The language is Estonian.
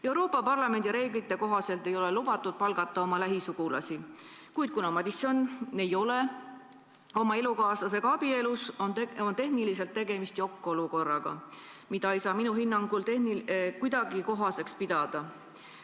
Euroopa Parlamendi reeglite kohaselt ei ole lubatud palgata oma lähisugulasi, kuid kuna Madison ei ole oma elukaaslasega abielus, on tehniliselt tegemist jokk-olukorraga, mida ei saa minu hinnangul kuidagi kohaseks pidada.